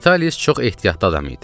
Vitalis çox ehtiyatlı adam idi.